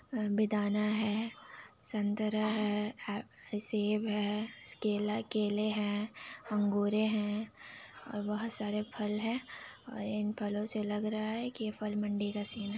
अ बेदाना है संतरा है सेब है केला केले हैं अंगुरे हैं और बहुत सारे फल हैं और इन फल से लग रहा है यह फल मंडी का सीन है।